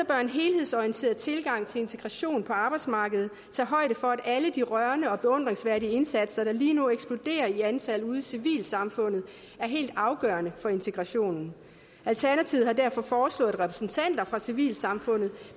bør en helhedsorienteret tilgang til integration på arbejdsmarkedet tage højde for at alle de rørende og beundringsværdige indsatser der lige nu eksploderer i antal ude i civilsamfundet er helt afgørende for integrationen alternativet har derfor foreslået at repræsentanter fra civilsamfundet